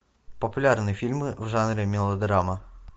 популярные фильмы в жанре мелодрама